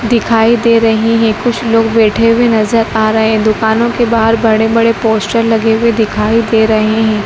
दिखाई दे रही है कुछ लोग बैठे भी नजर आ रहे हैं दुकानों के बाहर बड़े बड़े पोस्टर लगे हुए दिखाई दे रहे हैं।